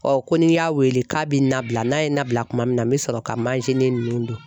ko ni n y'a wele k'a bɛ n nabila n'a ye n nabila kuma min na n bɛ sɔrɔ ka manzini ninnu dun.